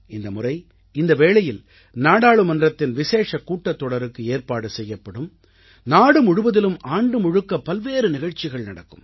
இந்தமுறை இந்த வேளையில் நாடாளுமன்றத்தின் விசேஷக் கூட்டத்தொடருக்கு ஏற்பாடு செய்யப்படும் நாடு முழுவதிலும் ஆண்டு முழுக்க பல்வேறு நிகழ்ச்சிகள் நடக்கும்